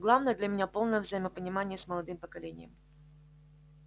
главное для меня полное взаимопонимание с молодым поколением